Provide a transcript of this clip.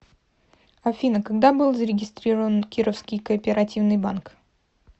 афина когда был зарегистрирован кировский кооперативный банк